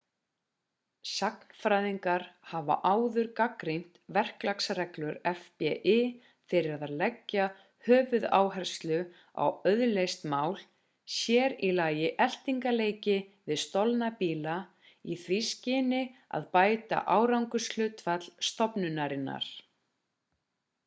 sagnfræðingar hafa áður gagnrýnt verklagsreglur fbi fyrir að leggja höfuðáherslu á auðleyst mál sér í lagi eltingaleiki við stolna bíla í því skyni að bæta árangurshlutfall stofnunarinnar